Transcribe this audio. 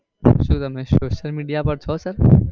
શું તમે social media પાર છો sir?